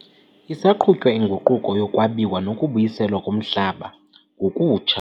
Isaqhutywa inguquko yokwabiwa nokubuyiselwa komhlaba ngokutsha.